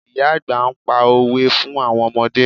Ìyá àgbà ń pa òwe fún àwọn ọmọdé